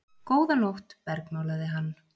Góða nótt bergmálaði hann.